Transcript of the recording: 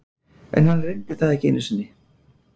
En hann reyndi það ekki einu sinni.